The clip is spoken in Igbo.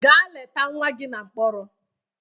Gaa leta nwa gị na mkpọrọ!